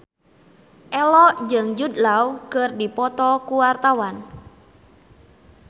Ello jeung Jude Law keur dipoto ku wartawan